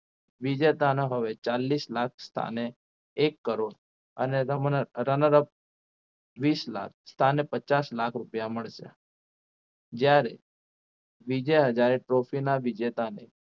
વિજેતાના હવે ચાલીસ લાખ સ્થાને એક કરોડ અને runner up વીસ લાખ સ્થાને પચાસ લાખ રૂપિયા મળશે જ્યારે વિજયા હજારે trophy ના વિજેતા ને